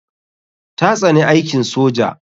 Ta tsani aikin soja.